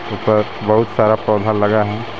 यहाँ पर बहुत सारा पौधा लगा है।